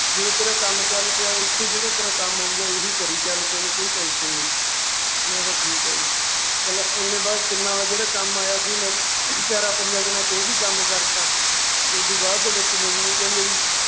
ਜਦੋਂ ਤੇਰਾ ਕੰਮ ਚੱਲ ਪਿਆ ਇੱਥੇ ਜਿਹੜਾ ਤੇਰਾ ਕੰਮ ਹੋਊਗਾ ਏਹੀ ਕਰੀ ਚੱਲ ਤੈਨੂੰ ਕੋਈ tension ਨਈਂ, ਮੈਂ ਕਿਹਾ ਠੀਕ ਆ ਜੀ, ਚੱਲ ਜਿਹੜਾ ਕੰਮ ਆਇਆ ਸੀ ਮੈਂ ਚਾਰਾਂ ਪੰਜਾਂ ਦਿਨਾਂ ਚ ਉਹ ਵੀ ਕੰਮ ਕਰਤਾ ਓਦੂ ਬਾਅਦ ਦੇ ਵਿੱਚ ਮੈਨੂੰ ਉਹ ਕਹਿੰਦੇ ਵੀ